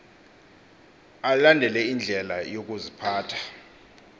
alandele indlela yokuziphatha